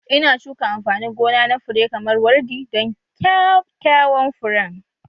Ina shuka amfanin gona na fure kamar wardi don kyakkyawan furen